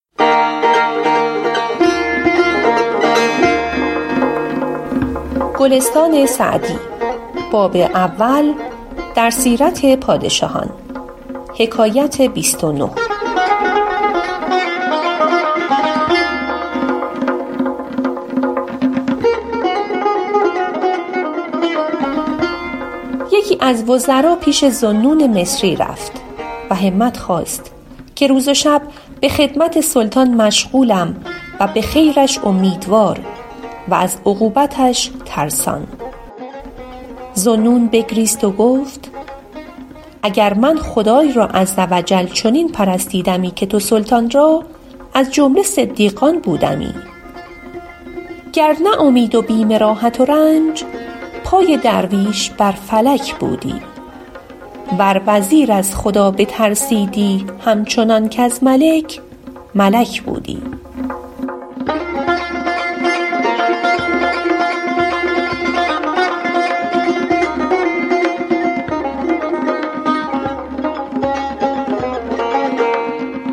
یکی از وزرا پیش ذوالنون مصری رفت و همت خواست که روز و شب به خدمت سلطان مشغولم و به خیرش امیدوار و از عقوبتش ترسان ذوالنون بگریست و گفت اگر من خدای را عز و جل چنین پرستیدمی که تو سلطان را از جمله صدیقان بودمی گر نه اومید و بیم راحت و رنج پای درویش بر فلک بودی ور وزیر از خدا بترسیدی هم چنان کز ملک ملک بودی